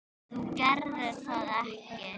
Þú gerðir það ekki?